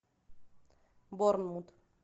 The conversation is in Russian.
борнмут